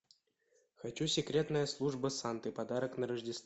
хочу секретная служба санты подарок на рождество